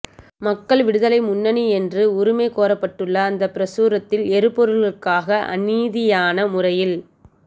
மக்கள் விடுதலை முன்னணி என்று உரிமை கோரப்பட்டுள்ள அந்தப் பிரசுரத்தில் எரிபொருள்களுக்காக அநீதியான முறையில்